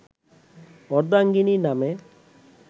অর্ধাঙ্গিনী নামে